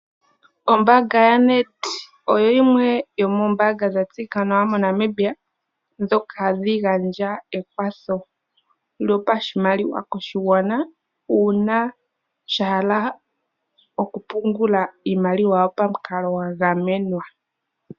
Ombaanga ya NedBank oyo yimwe yoomoombaanga dha tseyika nawa moNamibia ndhoka hadhi gandja ekwatho yopashigwana, uuna sha hala okupungula iimaliwa pamikalo dha gamenwa.